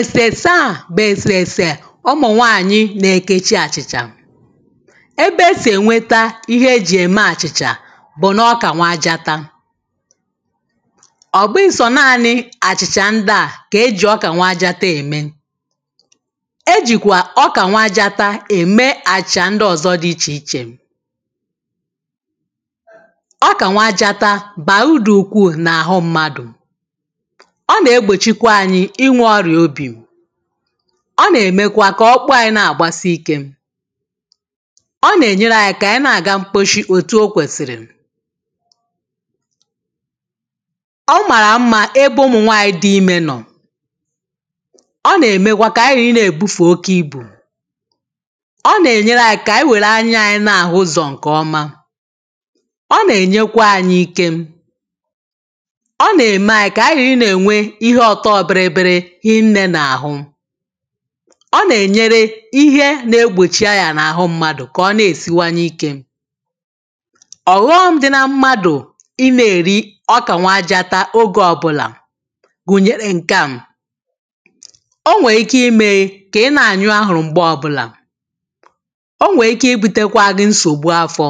esese a bụ esesè ụmụnwaanyị na-ekechi achichà ebe e sị enweta ihe e ji eme achịchà bụ na na ọka nwajatam ọ bụghị sọ naanị achịcha ndị à ka e ji ọka nwajata emē e jikwa ọka nwajatà eme acịchà ndị ọzọ dị iche ichè ọka nwajata bara uru ukwuu na-ahụ mmadụ̄ ọ na-egbochikwa anyị inwe ọrịa obì ọ na-emekwa ka ọkpụ anyị na-agbasiike ọ na-enyere anyị ka anyị na-aga mkposi otū okwesiri ọ mara mma na ebe ụmụnwaanyị dị ime nọ ọ na-emekwa ka anyị ghara na-ebufe oke ibū ọ na-enyere anyị ka anyị were anyị wee na-ahụ ụzọ nke ọmà ọ na-enyekwa anyị ikem ọ na-eme anyị ka anyị ghara ị na-enwe ihe ọtọ bịrịbịrị hinne na ahụ ọ na-enyere ihe na-egbochi aya na ahụ mmadụ̄ ka ọ na-esiwanye ike ọghọm dị na mmadụ̄ ị na-eri ọka nwajata oge ọbụlà gunyere m kam o nweike imee ka ị na-anyụ ahụrụ mgbe ọbụlā o nweike ibutekwa gi nsogbu afọ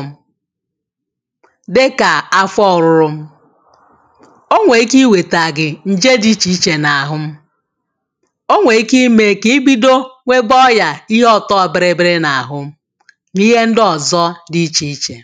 dịka afọ ọrụrụ̄ o nweike iweta gị nje dị iche iche na ahụ m o nweike ime ka i bido nwebe ọya ihe ọto bịrịbịrị na ahụ na ihe ndị ọzọ dị iche iche